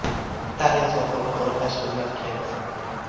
Italiya sohilni qo‘riqlash xizmati kemasi.